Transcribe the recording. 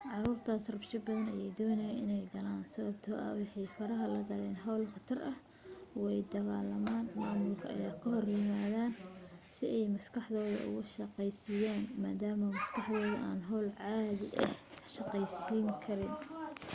caruurtaas rabsho badan ayay doonayaan in ay galaan sababtoo ah waxaay faraha la galaan hawlo khatara way dagaalamaan maamulka ayay ka hor yimaadaan si ay maskaxdooda uga shaqaysiiyaan maadaama maskaxdooda aan hawlo caadi ahi kaga shaqaysiin karayn